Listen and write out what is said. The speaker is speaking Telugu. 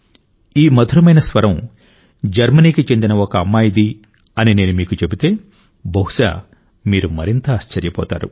ఈ మధురమైన స్వరం జర్మనీకి చెందిన ఒక అమ్మాయిది అని నేను మీకు చెబితే బహుశా మీరు మరింత ఆశ్చర్యపోతారు